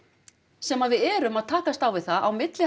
sem við erum að takast á við það á milli